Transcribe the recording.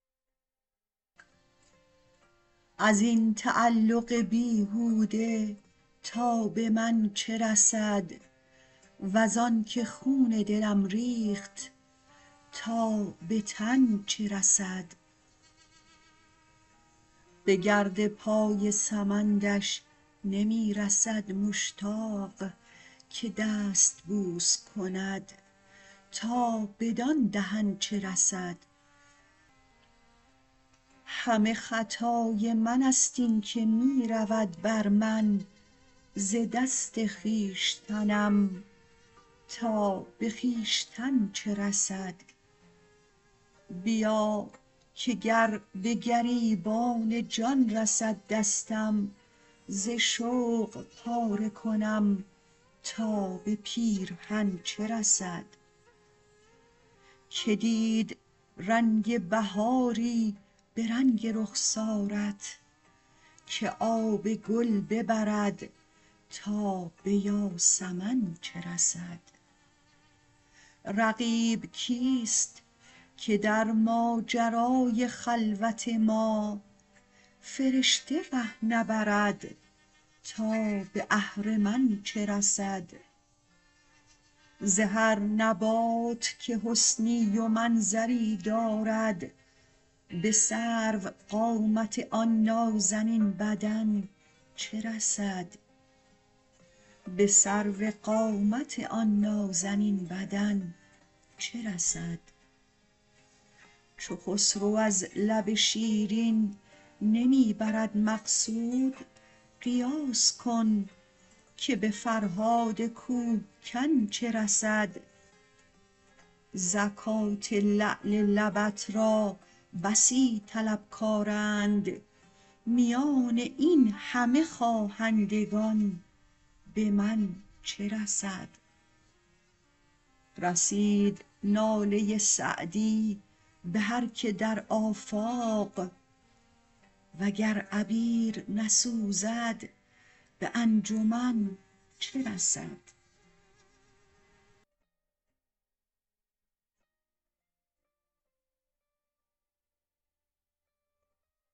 از این تعلق بیهوده تا به من چه رسد وز آن که خون دلم ریخت تا به تن چه رسد به گرد پای سمندش نمی رسد مشتاق که دست بوس کند تا بدان دهن چه رسد همه خطای من ست این که می رود بر من ز دست خویشتنم تا به خویشتن چه رسد بیا که گر به گریبان جان رسد دستم ز شوق پاره کنم تا به پیرهن چه رسد که دید رنگ بهاری به رنگ رخسارت که آب گل ببرد تا به یاسمن چه رسد رقیب کیست که در ماجرای خلوت ما فرشته ره نبرد تا به اهرمن چه رسد ز هر نبات که حسنی و منظری دارد به سروقامت آن نازنین بدن چه رسد چو خسرو از لب شیرین نمی برد مقصود قیاس کن که به فرهاد کوه کن چه رسد زکات لعل لبت را بسی طلبکارند میان این همه خواهندگان به من چه رسد رسید ناله سعدی به هر که در آفاق و گر عبیر نسوزد به انجمن چه رسد